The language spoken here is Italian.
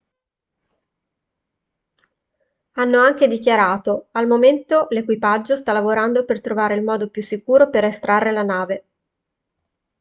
hanno anche dichiarato al momento l'equipaggio sta lavorando per trovare il modo più sicuro per estrarre la nave